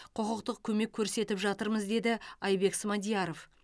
құқықтық көмек көрсетіп жатырмыз деді айбек смадияров